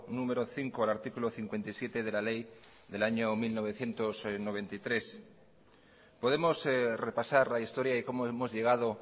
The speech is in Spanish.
número cinco al artículo cincuenta y siete de la ley del año mil novecientos noventa y tres podemos repasar la historia y cómo hemos llegado